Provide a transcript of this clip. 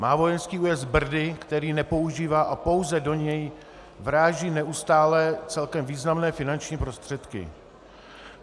Má vojenský újezd Brdy, který nepoužívá, a pouze do něj vráží neustále celkem významné finanční prostředky.